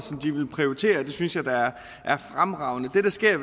de vil prioritere og det synes jeg da er fremragende det der sker